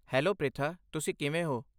Hello, Pritha. ਤੁਸੀ ਕਿਵੇਂ ਹੋ?